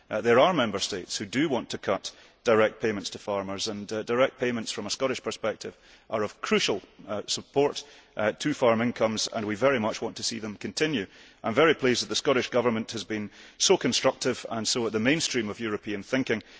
There are Member States which want to cut direct payments to farmers. However, from a Scottish perspective, direct payments are of crucial support to farm incomes and we very much want to see them continue. I am very pleased that the Scottish Government has been so constructive and so in the mainstream of European thinking.